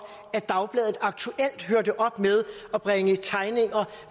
at dagbladet aktuelt hørte op med at bringe tegninger